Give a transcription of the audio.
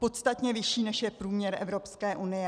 Podstatně vyšší, než je průměr Evropské unie.